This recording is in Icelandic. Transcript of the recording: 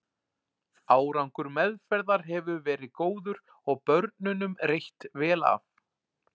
Árangur meðferðar hefur verið góður og börnunum reitt vel af.